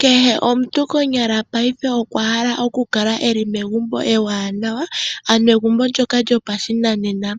Kehe omuntu konyala payife okwahala okukala eli megumbo ewanawa ano egumbo ndjoka lyopashinanena